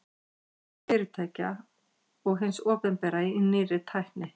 fjárfesting fyrirtækja og hins opinbera í nýrri tækni